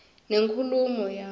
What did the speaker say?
nenkulumo yabo